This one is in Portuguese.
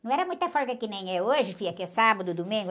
Não era muita folga que nem é hoje, filha, que é sábado, domingo.